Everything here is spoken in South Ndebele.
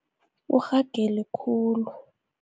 Urhagele khulu.